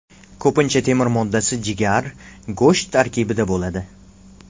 Ko‘pincha temir moddasi jigar, go‘sht tarkibida bo‘ladi.